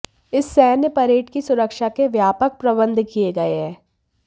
इस सैन्य परेड की सुरक्षा के व्यापक प्रबंध किए गए हैं